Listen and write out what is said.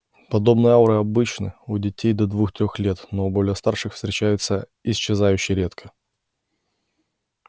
подобные ауры обычны у детей до двух-трех лет но у более старших встречаются исчезающе редко